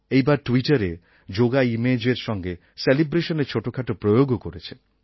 এইবার ট্যুইটারে যোগা ইমেজএর সঙ্গে সেলিব্রেশনের ছোটোখাটো প্রয়োগও করেছে